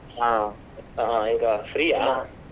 ಹಾ ಈಗ free ?